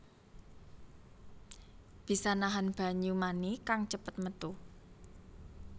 Bisa nahan banyu mani kang cepet métu